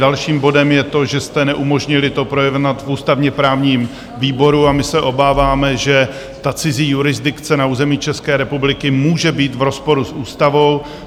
Dalším bodem je to, že jste neumožnili to projednat v ústavně-právním výboru a my se obáváme, že ta cizí jurisdikce na území České republiky může být v rozporu s ústavou.